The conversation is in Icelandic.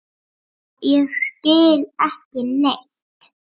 Og ég skil ekki neitt.